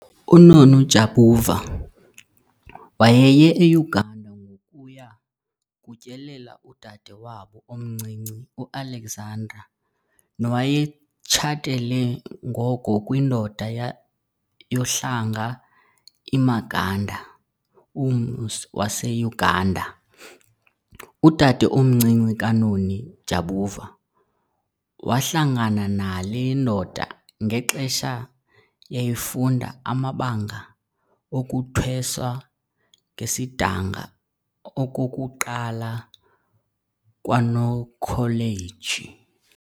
UNoni Jabavu wayeye eUganda ngokuya kutyelela udade wabo omncinci uAlexandra nowayetshatele ngoko kwindoda yohlanga iMaganda, ummi waseUganda. Udade omncinci kaNoni Jabavu wahlangana nale ndoda ngexesha yayifunda amabanga okuthweswa ngesidanga okokuqala kwaNokholeji.